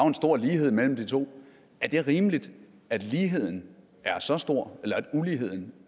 en stor lighed mellem de to er det rimeligt at ligheden er så stor eller at uligheden